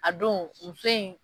A don muso in